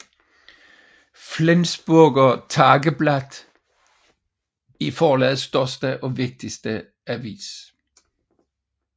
Flensburger Tageblatt er forlagets største og vigtigste avis